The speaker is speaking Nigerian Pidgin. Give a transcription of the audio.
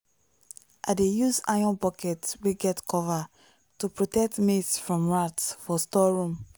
i dey use iron bucket wey get cover to protect maize from rat for storeroom.